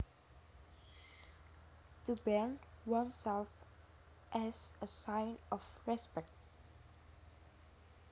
To bend oneself as a sign of respect